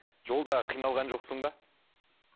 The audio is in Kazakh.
жолда қиналған жоқсың ба